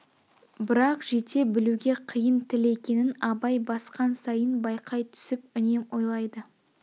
брақ жете білуге қиын тіл екенін абай басқан сайын байқай түсіп үнем ойлайды